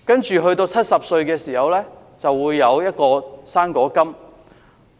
長者到了70歲，便會有"生果金"。